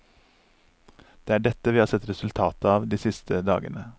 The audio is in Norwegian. Det er dette vi har sett resultatet av de siste dagene.